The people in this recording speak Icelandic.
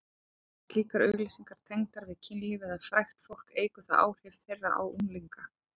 Séu slíkar auglýsingar tengdar við kynlíf eða frægt fólk eykur það áhrif þeirra á unglinga.